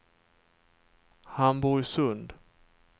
Hamburgsund